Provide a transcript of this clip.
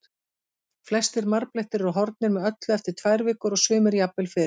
Flestir marblettir eru horfnir með öllu eftir tvær vikur og sumir jafnvel fyrr.